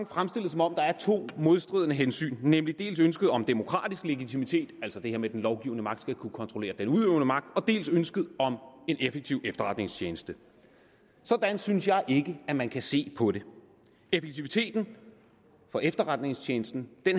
fremstillet som om der er to modstridende hensyn nemlig dels ønsket om demokratisk legitimitet altså det her med at den lovgivende magt skal kunne kontrollere den udøvende magt dels ønsket om en effektiv efterretningstjeneste sådan synes jeg ikke at man kan se på det effektiviteten for efterretningstjenesten